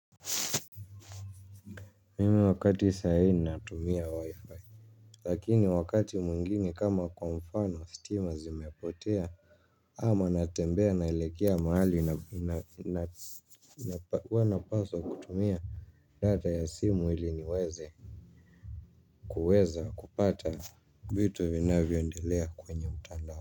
Mimi wakati sai ninatumia waifai. Lakini wakati mungine kama kwa mfano stima zimepotea kama natembea naelekea mahali huwa napaswa kutumia data ya simu ili niweze kuweza kupata vitu vinavyoedelea kwenye mtandao.